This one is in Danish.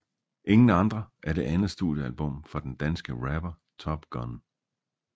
Ingen andre er det andet studiealbum fra den danske rapper TopGunn